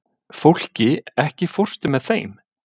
Fólki, ekki fórstu með þeim?